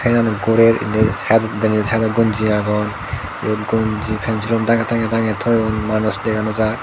siani gurer indi saetod denendi saetodi gonji agon yot gonji pen silum tange tange tange toyon manus dega nw jai.